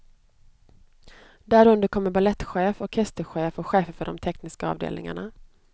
Därunder kommer balettchef, orkesterchef och chefer för de tekniska avdelningarna.